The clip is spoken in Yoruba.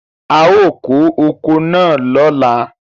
A ó kó oko náà lóla.